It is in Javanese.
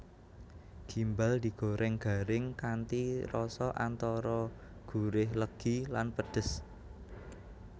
Gimbal digoreng garing kanthi rasa antara gurih legi lan pedhes